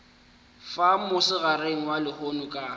fa mosegareng wa lehono ka